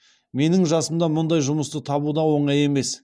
менің жасымда мұндай жұмысты табу да оңай емес